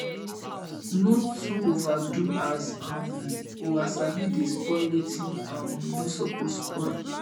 no too overdo as um over sabi dey spoil wetin um no soppose spoil